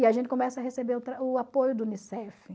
E a gente começa a receber o apoio da Unicef.